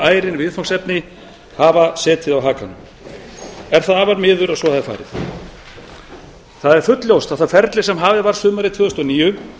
ærin viðfangsefni hafa setið á hakanum er afar miður að svo hafi farið það er fullljóst að það ferli sem hafið var sumarið tvö þúsund og níu